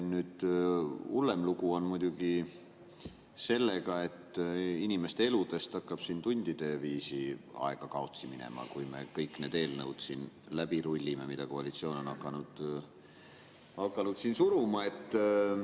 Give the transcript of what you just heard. Hullem lugu on muidugi sellega, et inimeste eludest hakkab tundide viisi aega kaotsi minema, kui me siin läbi rullime kõik need eelnõud, mida koalitsioon on hakanud suruma.